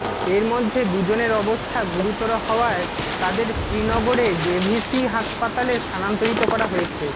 এর মধ্যে দুজনের অবস্থা গুরুতর হওয়ায় তাদের শ্রীনগরের জেভিসি হাসপাতালে স্থানান্তরিত করা হয়েছে